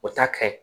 O ta ka ɲi